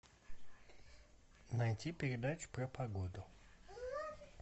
найти передачу про погоду